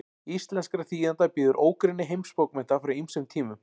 íslenskra þýðenda bíður ógrynni heimsbókmennta frá ýmsum tímum